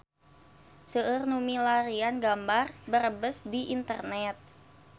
Seueur nu milarian gambar Brebes di internet